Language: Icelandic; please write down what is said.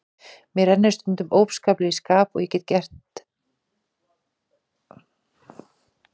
Mér rennur stundum óskaplega í skap og ég get verið illskeytt.